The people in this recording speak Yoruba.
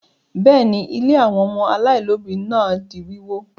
Bẹ́ẹ̀ ni, ilé àwọn ọmọ aláìlóòbí náà di wíwó.